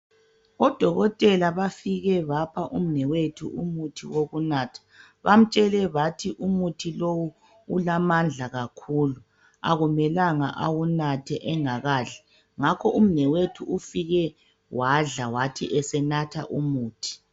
Odokotela bafike bapha umnewethu umuthi wokunatha, bamtshele bathi umuthi lowu ulamandla kakhulu akumelanga awunathe engakadli ngakho umnewethu ufike wadla wathi esenatha umuthi.